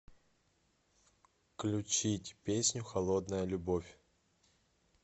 включить песню холодная любовь